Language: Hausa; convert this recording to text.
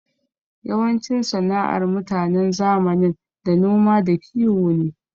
Yawancin sana'ar mutanen zamanin da noma da kiwo ne.